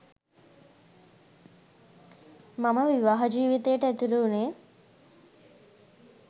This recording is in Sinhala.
මම විවාහ ජීවිතයට ඇතුළු වුණේ